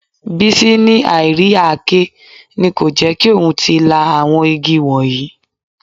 Bísí ní àì rí àáké ni kò jẹ́ kí òun tí ì lá àwọn igi wọ̀nyí